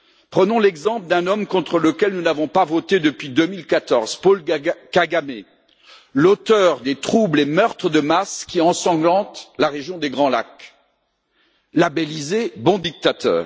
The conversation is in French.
Prenons l'exemple d'un homme contre lequel nous n'avons pas voté depuis 2014 Paul Kagamé, l'auteur des troubles et meurtres de masse qui ensanglantent la région des Grands Lacs, labellisé bon dictateur.